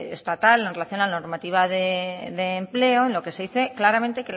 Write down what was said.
estatal en relación a la normativa de empleo en la que se dice claramente